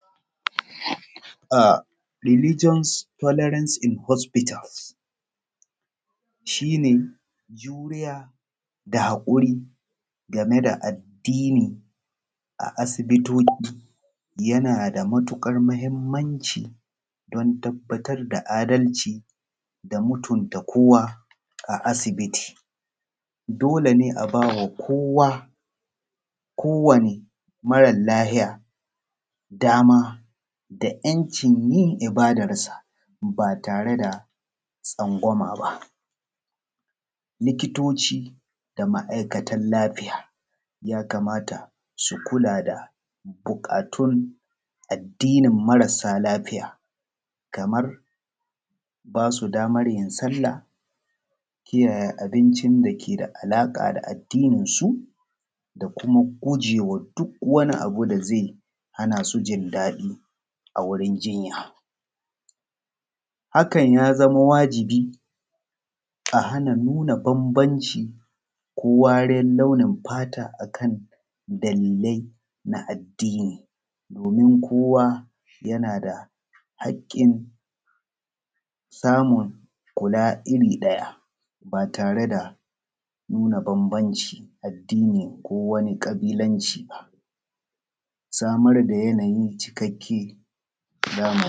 Religion telorance in hospitals. Shi ne juriya da hakuri game da addini a asibitoci. Yana da matuƙar mahimmanci domin tabbatar da adalci da mutumta kowa a asibiti. Dole ne a ba kowa kowanne mara lafiya dama da yancin yin ibadarsa ba tare da tsangwama ba. Likitoci da ma'aikatan lafiya ya kamata su kula da bukatun addinin marasa lafiya kamar ba su damar yin sallah kiyaye abuncin da yake da alaƙa da addininsu da gujewa duk wani abu da zai hana su jin daɗi a wajen jinya. Haka ya zama wajibi a hana nuna bambanci ko wariyar launin fata a kan dalilai na addini domin kowa yana da hakkin samun kula irin ɗaya ba tare da nuna bambancin addinin ko wani ƙabilanci ba. Samar da yanayi mai cikakken.